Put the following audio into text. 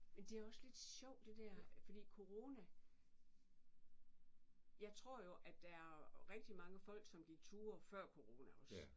Men det også lidt sjovt det der fordi corona jeg tror jo at der er rigtig mange folk som gik ture før corona også